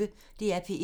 DR P1